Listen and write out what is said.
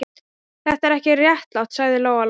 Þetta er ekki réttlátt, sagði Lóa Lóa.